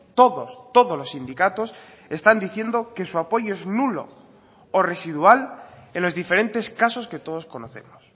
todos todos los sindicatos están diciendo que su apoyo es nulo o residual en los diferentes casos que todos conocemos